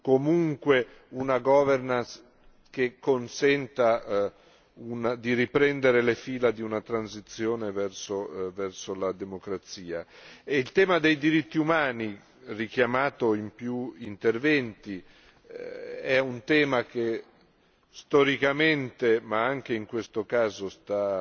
comunque una governance che consenta di riprendere le fila di una transizione verso la democrazia. Il tema dei diritti umani, richiamato in più interventi, è un tema che storicamente, ma anche in questo caso, sta